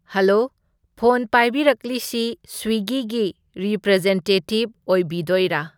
Hello phone ꯄꯥꯏꯕꯤꯔꯛꯂꯤꯁꯤ ꯁ꯭ꯋꯤꯒꯤꯒꯤ ꯔꯤꯄ꯭ꯔꯖꯦꯟꯇꯦꯇꯤꯞ ꯑꯣꯏꯕꯤꯗꯣꯏꯔꯥ?